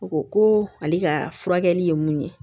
U ko ko ale ka furakɛli ye mun ye